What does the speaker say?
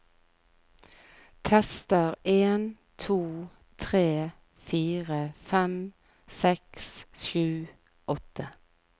Tester en to tre fire fem seks sju åtte